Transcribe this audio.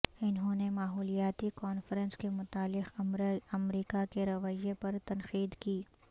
انہوں نے ماحولیاتی کانفرنس کے متعلق امریکہ کے رویہ پر تنقید کی